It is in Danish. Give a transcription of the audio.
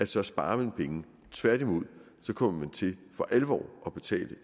så sparer man penge tværtimod kommer man til for alvor at betale